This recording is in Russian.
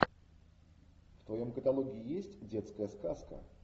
в твоем каталоге есть детская сказка